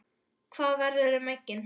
Hvað verður um eggin?